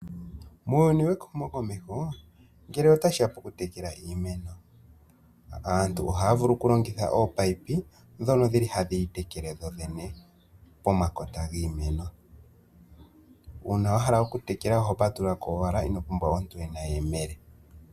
Muuyuni wehumokomeho ngele otashiya poku tekela iimeno, aantu ohaya vulu okulongitha ominino, dhono dhili hadhi tekele dhodhene pomakota giimeno. Uuna wahala okutekela oho patululako owala, inopumbwa omuntu ena eyemele.